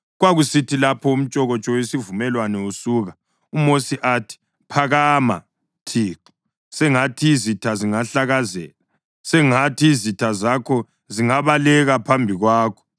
Kwakusithi lapho umtshokotsho wesivumelwano usuka, uMosi athi, “Phakama, Thixo! Sengathi izitha zingahlakazeka; sengathi izitha zakho zingabaleka phambi kwakho.”